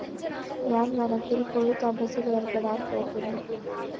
ഞാന്‍ വനത്തില്‍പ്പോയി തപസ്സിലേര്‍പ്പെടാന്‍ പോകുന്നു